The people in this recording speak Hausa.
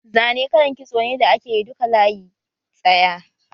Zane kallan kitso ne da ake yi duka layi tsaya